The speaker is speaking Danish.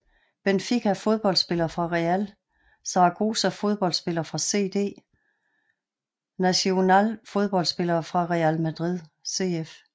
Benfica Fodboldspillere fra Real Zaragoza Fodboldspillere fra CD Nacional Fodboldspillere fra Real Madrid CF